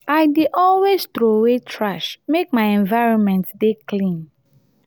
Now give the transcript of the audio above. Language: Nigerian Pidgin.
i dey always troway trash make my environment dey clean.